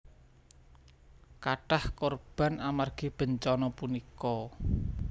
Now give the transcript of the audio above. Kathah korban amargi bencana punika